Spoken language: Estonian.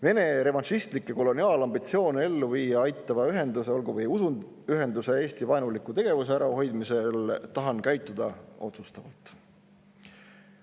Vene revanšistlikke koloniaalambitsioone ellu viia aitava ühenduse, olgu või usuühenduse Eesti-vaenuliku tegevuse ärahoidmisel tahan käituda otsustavalt.